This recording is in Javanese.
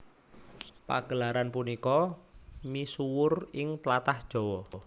Pagelaran punika misuwur ing tlatah Jawa